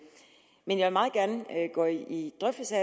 men jeg vil meget gerne indgå i drøftelser